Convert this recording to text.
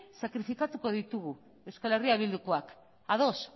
sakrifikatuko ditugu euskal herria bildukoak ados